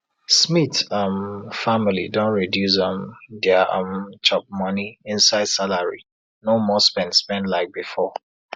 smith um family don reduce um dia um chopmoney inside salary no more spend spend like before